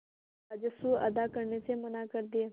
और राजस्व अदा करने से मना कर दिया